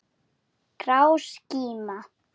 Grá skíma.